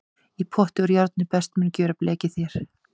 Í pott úr járni best mun gjöra blekið þér.